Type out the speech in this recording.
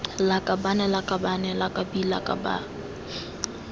lakabaaan lakabane lak bi lakab